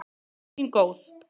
Frú mín góð.